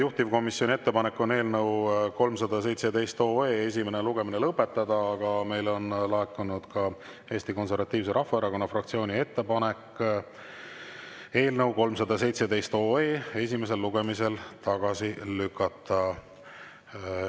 Juhtivkomisjoni ettepanek on eelnõu 317 esimene lugemine lõpetada, aga meile on laekunud ka Eesti Konservatiivse Rahvaerakonna fraktsiooni ettepanek eelnõu 317 esimesel lugemisel tagasi lükata.